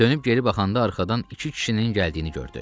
Dönüb geri baxanda arxadan iki kişinin gəldiyini gördü.